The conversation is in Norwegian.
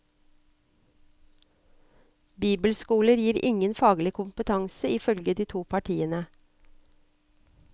Bibelskoler gir ingen faglig kompetanse, ifølge de to partiene.